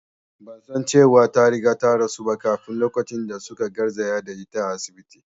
Ban san cewa ta riga ta rasu ba kafin lokacin da su ka garzaya da ita asibiti